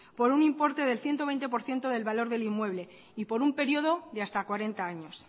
por un importe del ciento veinte por ciento del valor de inmueble y por un periodo de hasta cuarenta años